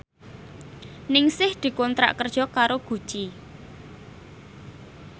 Ningsih dikontrak kerja karo Gucci